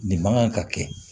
Nin man kan ka kɛ